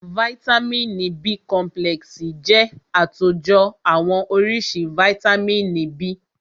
Vàìtamínií B complexi jẹ́ àtòjọ àwọn oríṣi vàìtamínií B.